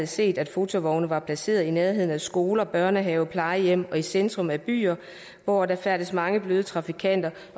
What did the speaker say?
set at fotovogne var placeret i nærheden af skoler børnehaver plejehjem og i centrum af byer hvor der færdes mange bløde trafikanter